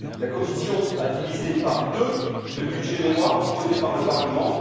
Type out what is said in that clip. La Commission a divisé par deux le budget mémoire proposé par le Parlement.